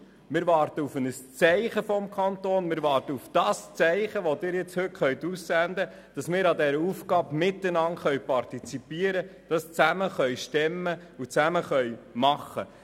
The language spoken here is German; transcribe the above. Wir warten auf ein Zeichen des Kantons, wir warten auf das Zeichen, das Sie heute setzen können, damit wir bei dieser Aufgabe miteinander partizipieren können, dies zusammen stemmen und zusammen machen können.